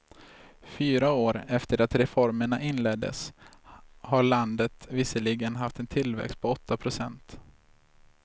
Fyra år efter det att reformerna inleddes har landet visserligen haft en tillväxt på åtta procent.